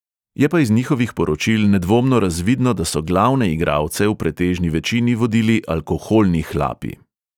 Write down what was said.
Je pa iz njihovih poročil nedvomno razvidno, da so glavne igralce v pretežni večini vodili alkoholni hlapi.